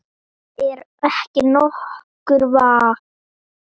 Það er ekki nokkur vafi.